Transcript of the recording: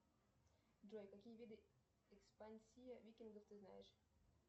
джой какие виды экспансии викингов ты знаешь